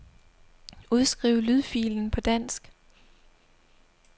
Udskriv lydfilen på dansk.